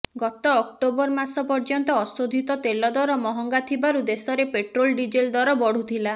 ଗତ ଅକ୍ଟୋବର ମାସ ପର୍ୟ୍ୟନ୍ତ ଅଶୋଧିତ ତେଲ ଦର ମହଙ୍ଗା ଥିବାରୁ ଦେଶରେ ପେଟ୍ରୋଲ ଡିଜେଲ ଦର ବଢୁଥିଲା